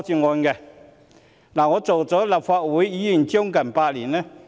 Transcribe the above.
我已擔任立法會議員將近8年。